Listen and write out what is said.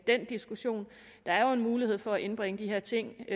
den diskussion der er jo en mulighed for at indbringe de her ting